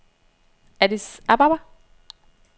Addis Ababa